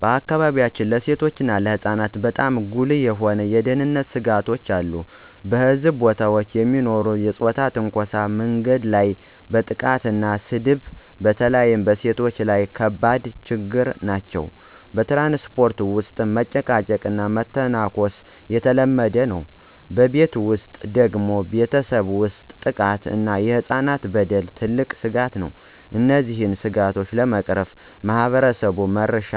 በአካባቢያችን ለሴቶችና ለህፃናት በጣም ጉልህ የሆኑ የደህንነት ስጋቶች አሉ። በሕዝብ ቦታዎች የሚኖሩ የፆታ ትንኮሳ፣ መንገድ ላይ ማጥቃትና ስድብ በተለይ በሴቶች ላይ ከባድ ችግኝ ናቸው። በትራንስፖርት ውስጥ መጨቃጨቅና መተንኮስ የተለመደ ነው። በቤት ውስጥ ደግሞ ቤተሰብ ውስጥ ጥቃት እና የህፃናት በደል ትልቅ ስጋት ነው። እነዚህን ስጋቶች ለመቅረፍ ማህበረሰብ-መራሽ